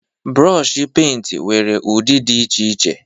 Brooshi penti nwere ụdị dị iche iche